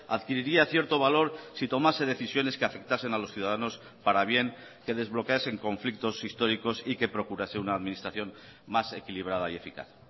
adquiriría cierto valor si tomase decisiones que afectasen a los ciudadanos para bien que desbloqueasen conflictos históricos y que procurase una administración más equilibrada y eficaz